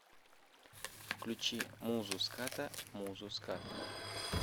включи музу ската музу скат